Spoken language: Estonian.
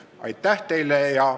Aitäh teile!